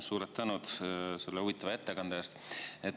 Suur tänu selle huvitava ettekande eest!